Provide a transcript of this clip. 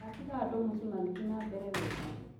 Ndatiga andũa mũciĩ magĩthi na mbere wega